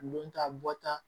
Don ta bɔta